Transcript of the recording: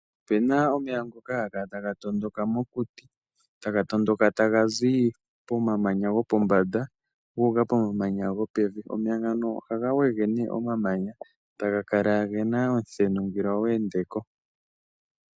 Ope na omeya ngoka haga kala ta ga tondoka mokuti, ta ga tondoka ta ga zi pomamanya gopombanda guuka pomamanya gopevi. Omeya ngano ohaga wege ne omamanya taga kala ge na omuthenu ngele owa ende ko.